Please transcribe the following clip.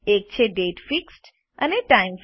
એક છે દાતે અને ટાઇમ